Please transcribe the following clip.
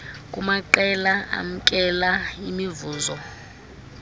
kumaqela amkela imivuzo